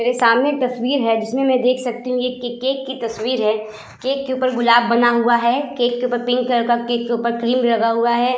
मेरे सामने एक तस्वीर है जिसमें मैं देख सकती हूं यह के केक की तस्वीर है केक के ऊपर गुलाब बना हुआ है केक के ऊपर पिंक कलर का केक के ऊपर क्रीम लगा हुआ है।